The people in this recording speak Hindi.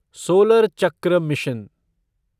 सोलर चक्र मिशन